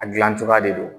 A gilan cogoya de don